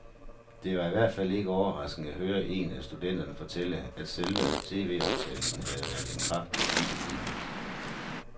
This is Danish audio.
Det var i hvert fald ikke overraskende at høre en af studenterne fortælle, at selve tvoptagelsen havde været et kraftigt antiklimaks.